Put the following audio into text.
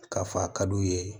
K'a fɔ a ka d'u ye